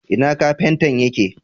Ina Kafintan yake